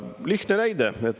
Lihtne näide.